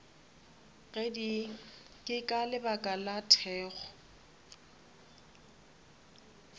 ke ka lebaka la thekgo